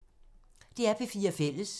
DR P4 Fælles